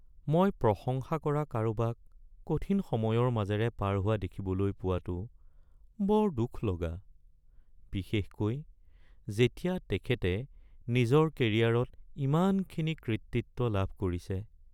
মই প্ৰশংসা কৰা কাৰোবাক কঠিন সময়ৰ মাজেৰে পাৰ হোৱা দেখিবলৈ পোৱাটো বৰ দুখলগা, বিশেষকৈ যেতিয়া তেখেতে নিজৰ কেৰিয়াৰত ইমানখিনি কৃতিত্ব লাভ কৰিছে।